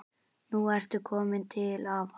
Nú ertu komin til afa.